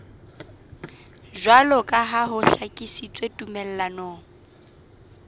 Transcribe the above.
jwaloka ha ho hlakisitswe tumellanong